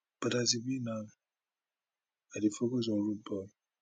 but as e be now i dey focus on on rudeboy